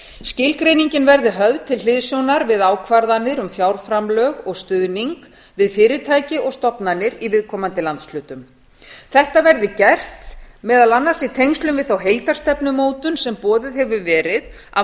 skilgreiningin verði höfð til hliðsjónar við ákvarðanir um fjárframlög og stuðning við fyrirtæki og stofnanir í viðkomandi landshlutum þetta verði gert meðal annars í tengslum við þá heildarstefnumótun sem boðuð hefur verið af